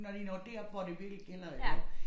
Når de når derop hvor det virkelig gælder iggå